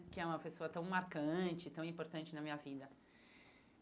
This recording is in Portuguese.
Que é uma pessoa tão marcante, tão importante na minha vida.